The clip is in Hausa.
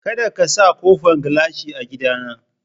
Kadaka ka sa ƙofan gilashi a gida na!